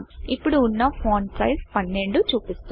ఇప్పుడు వున్న font size font సైస్12 చూపిస్తుంది